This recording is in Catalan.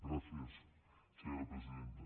gràcies senyora presidenta